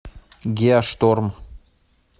геошторм